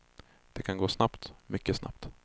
Det kan gå snabbt, mycket snabbt.